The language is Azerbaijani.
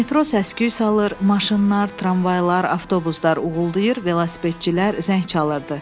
Metro səsküy salır, maşınlar, tramvaylar, avtobuslar uğuldayır, velosipedçilər zəng çalırdı.